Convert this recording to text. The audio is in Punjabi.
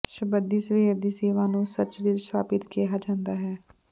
ਸ਼ਬੱਦੀ ਸਵੇਰ ਦੀ ਸੇਵਾ ਨੂੰ ਸ਼ਚਰਿਤ ਸ਼ਾਬਤ ਕਿਹਾ ਜਾਂਦਾ ਹੈ